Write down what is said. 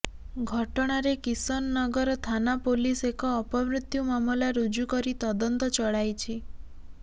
ଘଟଣାରେ କିଶନନଗର ଥାନା ପୋଲିସ ଏକ ଅପମୃତ୍ୟୁ ମାମଲା ରୁଜୁ କରି ତଦନ୍ତ ଚଳାଇଛି